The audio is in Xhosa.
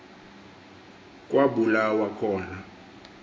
kwa bulawa khona